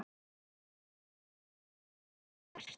Ég sá ekki betur en að hann væri merkt